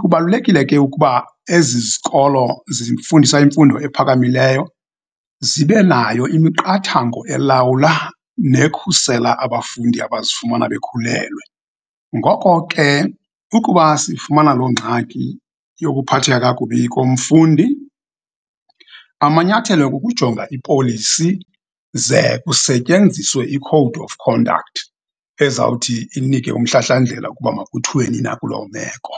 Kubalulekile ke ukuba ezi zikolo zifundisa imfundo ephakamileyo zibe nayo imiqathango, elawula nekhusela abafundi abazifumana bekhulelwa. Ngoko ke, ukuba sifumana loo ngxaki yokuphatheka kakubi komfundi, amanyathelo kukujonga ipolisi, ze kusetyenziswe i-code of conduct ezawuthi inike umhlahlandlela ukuba makuthweni na kulo meko.